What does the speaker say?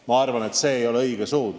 Ma arvan, et see ei ole õige suund.